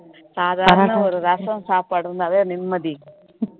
சாதாரண ஒரு ரசம் சாப்பாடு இருந்தாவே நிம்மதி